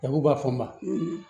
Labu b'a fɔ n ma